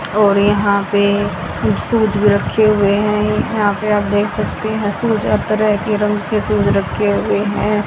और यहां पे शूज भी रखे हुए हैं यहां पे आप देख सकते हैं शूज हर तरह के रंग के शूज रखे हुए हैं।